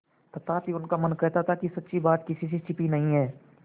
तथापि उनका मन कहता था कि सच्ची बात किसी से छिपी नहीं है